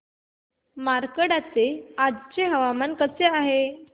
मार्कंडा चे आजचे हवामान कसे आहे